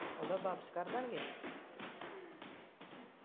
ਉਹਦਾ ਵਾਪਸ ਕਰਦਾਗੇ